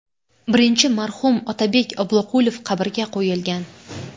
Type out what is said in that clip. Birinchi marhum Otabek Obloqulov qabrga qo‘yilgan.